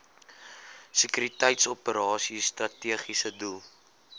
sekuriteitsoperasies strategiese doel